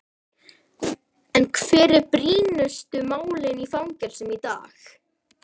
En hver eru brýnustu málin í fangelsum í dag?